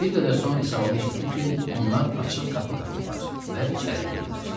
Bir qədər sonra İsabala eşitdi ki, onlar açıq qapı tapıblar və içəri girirlər.